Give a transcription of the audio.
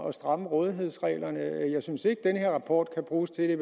at stramme rådighedsreglerne jeg synes i at den her rapport kan bruges til